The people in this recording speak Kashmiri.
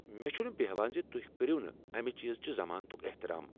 مےٚ چھنہٕ بٮ۪ہوان ز تُہۍ کٔرِو نہٕ امہ چیزکہِ ضمانتٗك احترام ۔